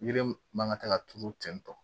Yiri man ka taa ka turu ten tɔ